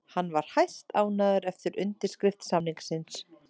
Hann var hæstánægður eftir undirskrift samningsins